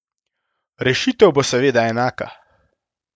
Rešitev bo seveda enaka.